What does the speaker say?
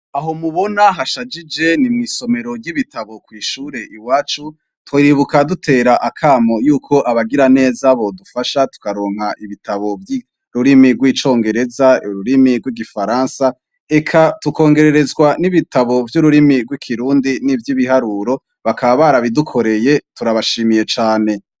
Aho mubona hashashije ni mw'isomero ry'ibitabo kw'ishure iwacu, tuhibuka dutera akamo yuko abagira neza bodufasha tukaronka ibitabo vy'ururimi rw'icongereza, ururimi rw'igifaransa, eka tukongererezwa n'ibitabo vy'ururimi rw'ikirundi n'ivy'ibiharuro, bakaba barabidukoreye, turabashimiye cane.